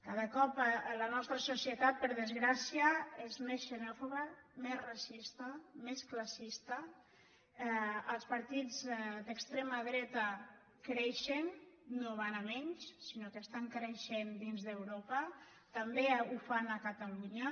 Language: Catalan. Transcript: cada cop la nostra societat per desgràcia és més xe·nòfoba més racista més classista els partits d’extre·ma dreta creixen no van a menys sinó que estan crei·xent dins d’europa també ho fan a catalunya